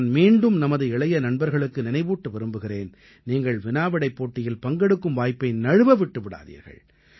நான் மீண்டும் நமது இளைய நண்பர்களுக்கு நினைவூட்ட விரும்புகிறேன் நீங்கள் வினாவிடைப் போட்டியில் பங்கெடுக்கும் வாய்ப்பை நழுவ விட்டு விடாதீர்கள்